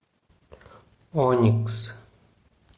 оникс